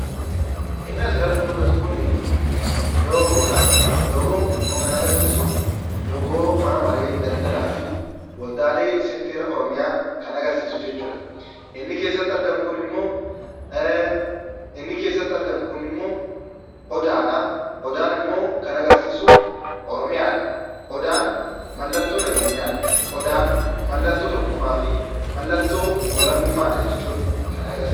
Inni asirratti mul'atu kun loogoodha. Loogoon kunimmoo kan agarsiisu loogoo mana maree daldalaa fi waldaalee seektara oromiyaati kan agarsiisu jechuudha. Inni keessatti argamummoo odaadha. Odaan immoo kan agarsiisu oromiyaadha. Odaan mallattoo nageenyaadha. Odaan mallattoo tokkummaa fi mallattoo walabummaadha jechuudha.